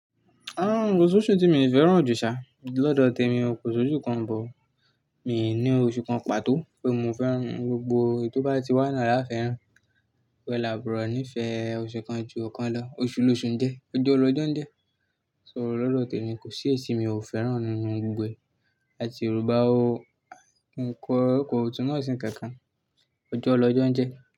Ah, ko s'oṣù tí mi ò fẹ́ràn ò jù ṣá, lọ́dọ̀ tèmi ò kò s'oṣù kan bọ̀. Mì ní oṣù kan pàtó pé mo fẹ́ràn, gbogbo ètó bá ti wà ní àáfẹ́ràn. Pẹ̀ lábùrọ̀ nífẹ̀ oṣù kan ju ọ̀kan lọ, oṣù loṣù n jẹ, ọjọ́ lọ́jọ́ n jẹ. So lọ́dọ̀ tèmi kò sí ètì mi ò fẹ́ràn nínú gbogbo ètì Yorùbá o. N kọ ọkọ̀ ọ̀tún náà sí kẹ̀kẹ́, ọjọ́ lọ́jọ́ n jẹ́